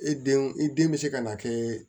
I denw i den bɛ se ka na kɛ